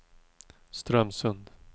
Strömsund